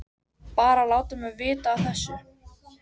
Bara að láta mig vita af þessu.